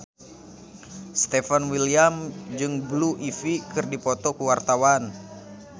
Stefan William jeung Blue Ivy keur dipoto ku wartawan